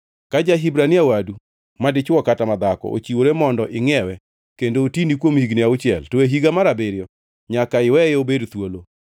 Ka ja-Hibrania wadu madichwo kata madhako ochiwore mondo ingʼiewe kendo otini kuom higni auchiel, to e higa mar abiriyo nyaka iweye obed thuolo.